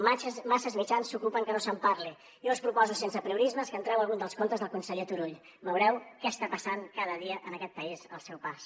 massa mitjans s’ocupen que no se’n parli jo us proposo sense apriorismes que entreu a algun dels comptes del conseller turull veureu què està passant cada dia en aquest país al seu pas